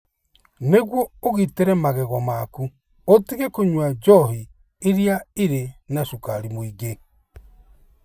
Nĩguo ũgitĩre magego maku, ũtige kũnyua njohi iria irĩ na cukari mũingĩ.